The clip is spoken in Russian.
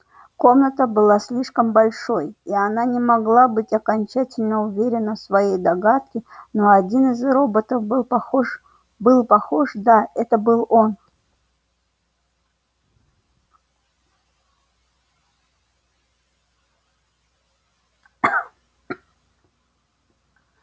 комната была слишком большой и она не могла быть окончательно уверена в своей догадке но один из роботов был похож был похож да это был он